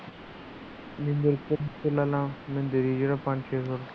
ਜੇ ਨਾ੍ ਚੱਲਿਆ ਮੈਨੂੰ ਦੇਦੀ ਪੰਜ ਸੋ ਰੁਪਏ ਦਾ